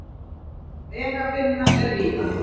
Vegavinna er víða